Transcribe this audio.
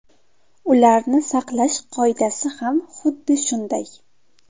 Ularni saqlash qoidasi ham xuddi shunday.